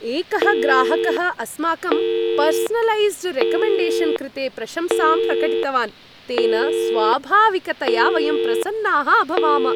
एकः ग्राहकः अस्माकं पर्सनलैस्ड् रेकमेण्डेशन् कृते प्रशंसां प्रकटितवान्, तेन स्वाभाविकतया वयं प्रसन्नाः अभवाम।